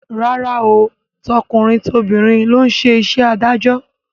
Rárá o, tọkùnrin tobìnrin ló ń ṣe iṣẹ́ adájọ́